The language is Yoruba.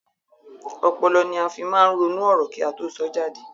Ọpọlọ ní a fí máa ń ronú ọ̀rọ̀ kí a tó sọ jáde